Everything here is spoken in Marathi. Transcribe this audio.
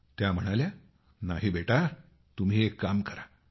त्या म्हणाल्या नाही बेटा तुम्ही एक काम करा